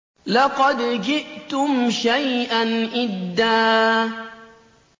لَّقَدْ جِئْتُمْ شَيْئًا إِدًّا